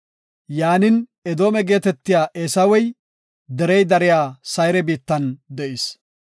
Yaanin, Edoome geetetiya Eesawey derey dariya Sayre biittan de7is.